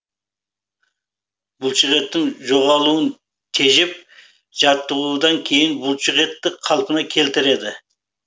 бұлшықеттің жоғалуын тежеп жаттығудан кейін бұлшықетті қалпына келтіреді